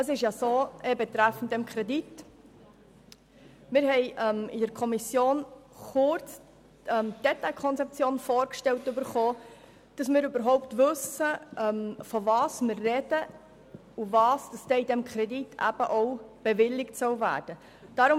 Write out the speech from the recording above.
In der Kommission wurde uns kurz die Detailkonzeption vorgestellt, damit wir überhaupt wissen, wovon wir sprechen und was mit diesem Kredit bewilligt werden soll.